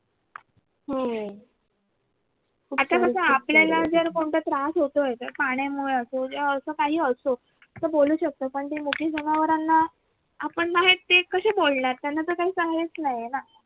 हो आता कस आपल्याला जर कोणता त्रास होतोय पाण्यामुळं असो जे असं काही असो तर बोलू शकतो पण जर मोठी जाणवरांना ते कसे बोलणार ना त्यांना काही साहाययच नाहीये ना